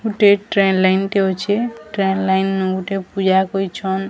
ଗୋଟେ train line ଟେ ଅଛେ ଟ୍ରେନ ଲାଇନ୍ ନୁ ଗୁଟେ ପୂଜା କରିଛନ --